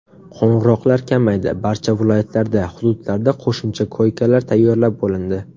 Qo‘ng‘iroqlar kamaydi, barcha viloyatlarda, hududlarda qo‘shimcha koykalar tayyorlab bo‘lindi.